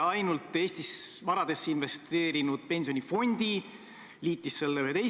Mina tulin toona ühest omavalitsusest, kus oli samuti selline fotode sein – mitte maalid, aga fotod.